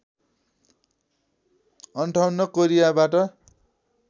५८ कोरियाबाट